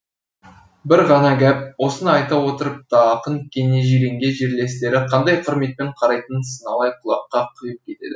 бір ғана гәп осыны айта отырып та ақын кене жиренге жерлестері қандай құрметпен қарайтынын сыналай құлаққа құйып кетеді